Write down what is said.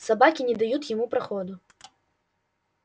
собаки не дают ему проходу